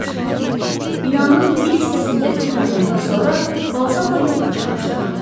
Binanın bir hissəsindəki yanğından sonra Balzamo yoxa çıxmışdı.